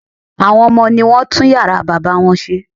Àwọn ọmọ ní wọ́n tún yàrá bàbá wọn ṣe